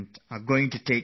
You know it, don't you